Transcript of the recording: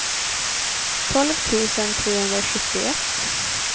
tolv tusen trehundrasjuttioett